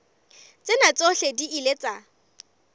tsena tsohle di ile tsa